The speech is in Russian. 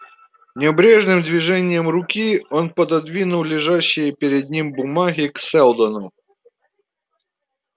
небрежным движением руки он пододвинул лежащие перед ним бумаги к сэлдону